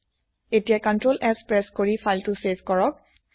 এতিয়া ctrls press কৰি file save কৰক